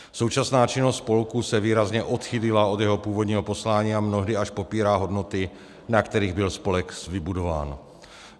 Současná činnost spolku se výrazně odchýlila od jeho původního poslání a mnohdy až popírá hodnoty, na kterých byl spolek vybudován.